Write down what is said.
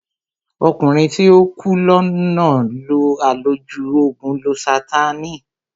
Ọkùnrin tí ó ń kú lọ náà lo àlòjù ògùn lósátáànì